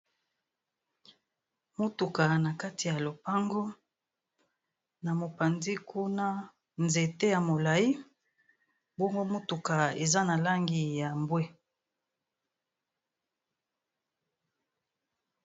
Motuka na kati ya lopango. Na mopanzi kuna, nzete ya molai. Bongo motuka eza na langi ya mbwe.